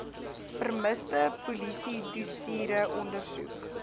vermiste polisiedossiere ondersoek